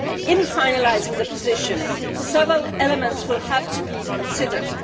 In finalising the position, several elements will have to be considered.